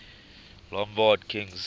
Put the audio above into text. lombard kings